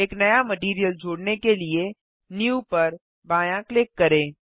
एक नया मटैरियल जोड़ने के लिए न्यू पर बायाँ क्लिक करें